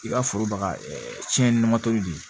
I ka foro baga cɛn na de